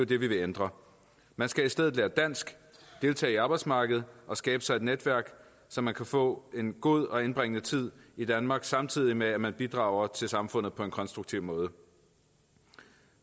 det vi vil ændre man skal i stedet lære dansk deltage i arbejdsmarkedet og skabe sig et netværk så man kan få en god og indbringende tid i danmark samtidig med at man bidrager til samfundet på en konstruktiv måde